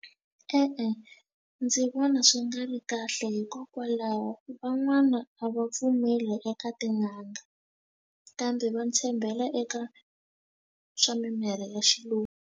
E-e, ndzi vona swi nga ri kahle hikokwalaho van'wana a va pfumeli eka tin'anga kambe va tshembela eka swa mimirhi ya xilungu.